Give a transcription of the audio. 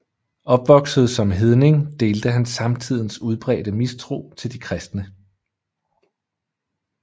Opvokset som hedning delte han samtidens udbredte mistro til de kristne